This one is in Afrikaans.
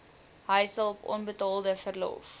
huishulp onbetaalde verlof